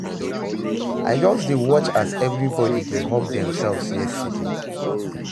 I just dey watch as everybody dey hug themselves yesterday